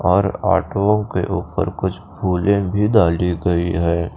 और ऑटो के ऊपर कुछ खोले भी डाली गई है।